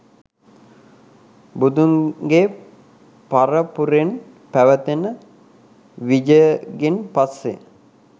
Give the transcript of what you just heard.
බුදුන්ගේ පරපුරෙන් පැවතෙන විජයගෙන් පස්සේ